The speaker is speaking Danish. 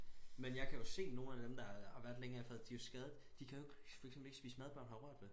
Men jeg kan jo se nogen af dem der har været længere i faget de jo skadet de kan jo ikke for eksempel ikke spise mad børnene har rørt ved